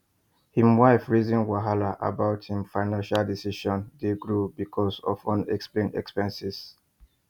him wife rizin wahala about him financial decisions dey grow because of unexplained expenses